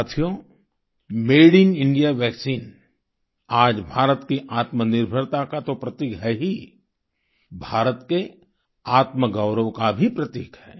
साथियो made in India vaccine आज भारत की आत्मनिर्भरता का तो प्रतीक है ही भारत के आत्मगौरव का भी प्रतीक है